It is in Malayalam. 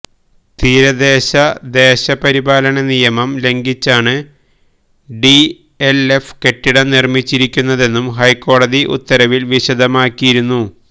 തീരദേശ ദേശ പരിപാലന നിയമം ലംഘിച്ചാണ് ഡിഎൽഎഫ് കെട്ടിടം നിർമ്മിച്ചിരിക്കുന്നതെന്നും ഹൈക്കോടതി ഉത്തരവിൽ വിശദമാക്കിയിരുന്നു